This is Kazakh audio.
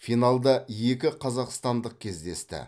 финалда екі қазақстандық кездесті